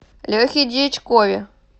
лехе дьячкове